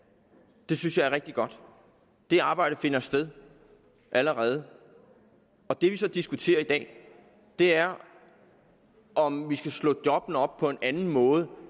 det synes jeg er rigtig godt det arbejde finder sted allerede det vi så diskuterer i dag er om vi skal slå jobbene op på en anden måde